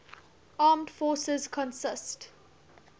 armed forces consist